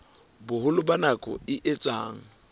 boholo ba nako e etsang